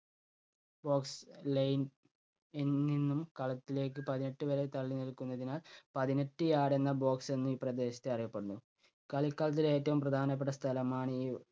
box line ~നിൽ നിന്നും കളത്തിലേക്ക് പതിനെട്ട് വാര തള്ളി നിൽക്കുന്നതിനാൽ പതിനെട്ട് yard എന്ന box എന്നും ഈ പ്രദേശത്തെ അറിയപ്പെടുന്നു. കളിക്കളത്തിലെ ഏറ്റവും പ്രധാനപ്പെട്ട സ്ഥലമാണീ